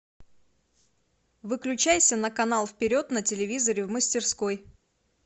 выключайся на канал вперед на телевизоре в мастерской